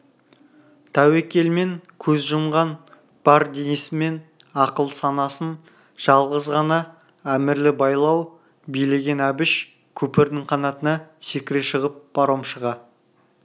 тәуекелмен көз жұмған бар денесімен ақыл санасын жалғыз ғана әмірлі байлау билеген әбіш көпірдің қанатына секіре шығып паромшыға